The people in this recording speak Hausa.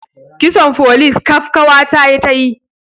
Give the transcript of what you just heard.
Kitson folis kaf kawa ta ta yi